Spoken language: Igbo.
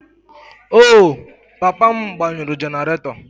Oh, papa m gbanyụrụ generator